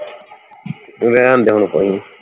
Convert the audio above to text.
ਰਹਿਣ ਦੇ ਹੁਣ ਕੋਈ ਨਹੀਂ